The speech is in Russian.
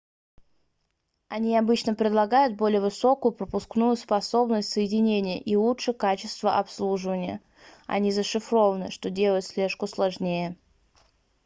они обычно предлагают более высокую пропускную способность соединения и лучшее качество обслуживания они зашифрованы что делает слежку сложнее